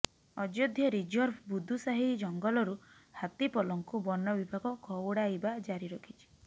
Ayodhya reserve Budusahi ଜଙ୍ଗଲରୁ ହାତୀପଲଙ୍କୁ ବନବିଭାଗ ଘଉଡ଼ାଇବା ଜାରି ରଖିଛି